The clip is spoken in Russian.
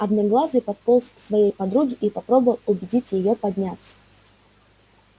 одноглазый подполз к своей подруге и попробовал убедить её подняться